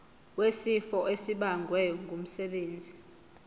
wesifo esibagwe ngumsebenzi